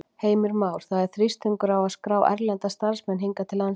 Heimir Már: Það er þrýstingur á að skrá erlenda starfsmenn hingað inn til landsins?